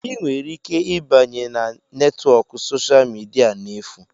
Ị nwere ike ịbanye na netwọk soshal midia n'efu.